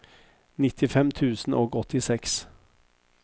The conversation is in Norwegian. nittifem tusen og åttiseks